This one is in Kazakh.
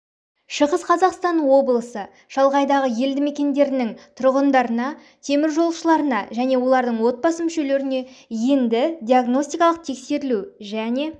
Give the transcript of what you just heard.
шығыс қазақстан облысы шалғайдағы елді мекендерінің тұрғындарына теміржолшыларына және олардың отбасы мүшелеріне енді диагностикалық тексерілу және